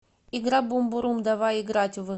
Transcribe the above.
игра бумбурум давай играть в